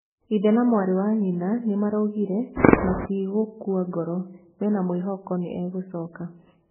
Ithe na mwarĩ wa nyina nĩ maraugire matigĩkua ngoro, mena mwĩhoko nĩ egũcoka